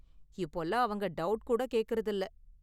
இப்போலாம் அவங்க டவுட் கூட கேக்கறதில்ல.